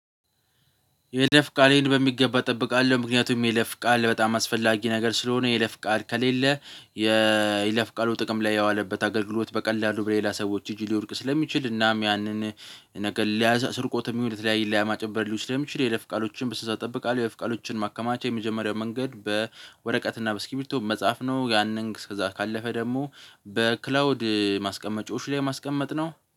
የይለፍ ቃሌን በሚገባ እጠብቃለሁ ምክንያቱም የይለፍ ቃል በጣም አስፈላጊ ነገር ስለሆነ የይለፍ ቃል ከሌለ የይለፍ ቃሉ ጥቅም ላይ ያዋለበት አገልግሎት በቀላሉ በሌላ ሰዎች እጅ ሊወድቅ ስለሚችል እናም ያንን ነገር ለ ስርቆትም ለተለያዩ ለማጭበርበር ሊሆን ስለሚችል የይለፍ ቃሎችን ብስነ ስርዓት ጠብቃለሁ። የይለፍ ቃሎችን ማከማቻ የመጀመሪያው መንገድ በወረቀትና በስኪብቶ መጽሐፍ ነው። ያንን ከዛ ካለፈ ደግሞ በክላውድ ማስቀመጫዎች ላይ ማስቀመጥ ነው